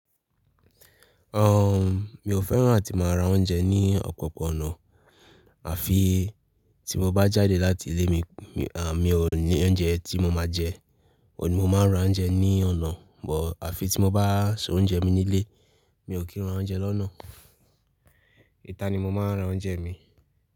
Um, mi ò fẹ́ràn àti máa ra oúnjẹ ní ọ̀pọ̀pọ̀ ọ̀nà, àfi tí mo bá jáde láti ilé mi, à, mi ò ní oúnjẹ tí mo máa jẹ, òní mo máa ń ra oúnjẹ ní ọ̀nà, but àfi tí mo bá so oúnjẹ mi nílé, mi ò kí ń ra oúnjẹ lọ́nà Íta ni mo máa ń ra oúnjẹ mi.